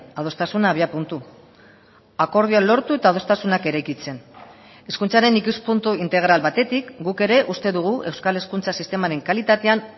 adostasuna abiapuntu akordioa lortu eta adostasunak eraikitzen hezkuntzaren ikuspuntu integral batetik guk ere uste dugu euskal hezkuntza sistemaren kalitatean